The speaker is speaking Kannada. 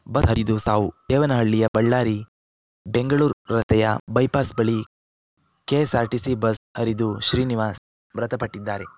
ಬಸ್ ಹರಿದು ಸಾವು ದೇವನಹಳ್ಳಿಯ ಬಳ್ಳಾರಿ ಬೆಂಗಳೂರ್ ರಸ್ತೆಯ ಬೈಪಾಸ್ ಬಳಿ ಕೆಎಸ್‌ಆರ್‌ಟಿಸಿ ಬಸ್ ಹರಿದು ಶ್ರೀನಿವಾಸ್ ಮೃತಪಟ್ಟಿದ್ದಾರೆ